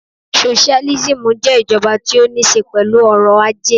Socialism jé ìjoba tí ó ní se pèlú orò ajé